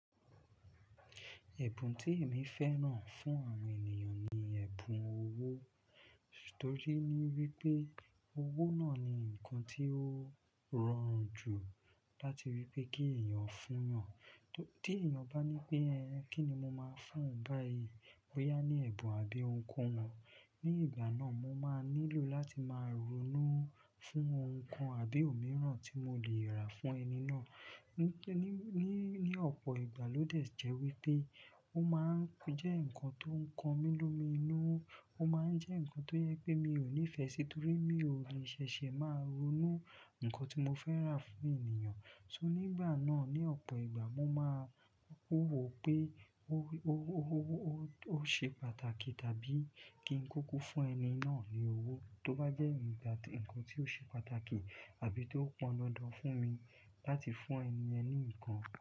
Ẹ̀bùn tí èmi fẹ́ràn fún àwọn ènìyàn ni ẹ̀bùn owó. Tori wípé owó náà ni ǹkan tí ó rọrùn jù láti rí pé kí ẹ̀yàn fún yan. Tí èèyàn bá ní pé, "Ẹ̀ẹ̀, kíni mo máa fún oun báyìí?" boyá ní ẹ̀bùn àbí ohunkohun. Ni ìgbà náà, mo máa nílò láti máa ronú fún ǹkan àbí òmíràn tí mo le rà fún ẹni náà. Ni, ní, ní ọ̀pọ̀ ìgbà lódẹ jẹ́ wípé ó máa ń jẹ́ ǹkan tó ń kọmi lomi inu. Ó máa ń jẹ́ ǹkan tó yẹ pé mi ò nífẹ̀ẹ́ si, nítorí mi ò le ṣẹ̀ṣẹ̀ máa ronú ǹkan tí mo fẹ́ rà fún ènìyàn. Ṣó nígbà náà, ní ọ̀pọ̀ ìgbà mo máa n wò pé ó, ó, ó, ó, ó ṣe pàtàkì tàbí kí n kúkú fún ẹni náà ni owó. Tó bá jẹ́ ǹkan tí ó ṣe pàtàkì àbí tó pọn dandan fún mi láti fún ẹni yẹn ní ǹkan.